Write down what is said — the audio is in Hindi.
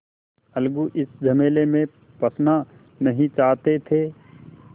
अलगू इस झमेले में फँसना नहीं चाहते थे